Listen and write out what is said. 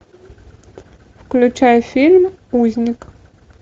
включай фильм узник